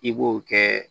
I b'o kɛ